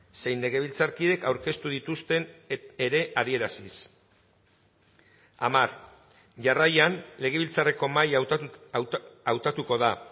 zein legebiltzarkidek aurkeztu dituzten ere adieraziz hamar jarraian legebiltzarreko mahaia hautatuko da